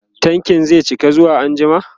tankin zai cika zuwa anjima